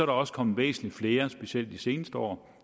også kommet væsentlig flere specielt de seneste år